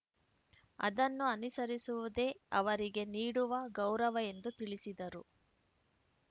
ಅದನ್ನು ಅನುಸರಿಸುವುದೇ ಅವರಿಗೆ ನೀಡುವ ಗೌರವ ಎಂದು ತಿಳಿಸಿದರು